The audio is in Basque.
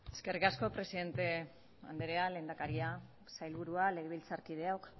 eskerrik asko presidente andrea lehendakaria sailburua legebiltzarkideok